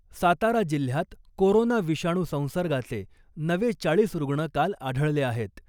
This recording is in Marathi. सातारा जिल्ह्यात कोरोना विषाणू संसर्गाचे नवे चाळीस रुग्ण काल आढळले आहेत .